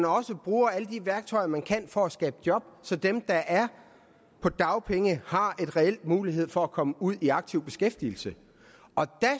også bruge alle de værktøjer man kan for at skabe job så dem der er på dagpenge har en reel mulighed for at komme ud i aktiv beskæftigelse og der